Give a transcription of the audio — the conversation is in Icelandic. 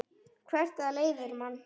Hvert það leiðir mann.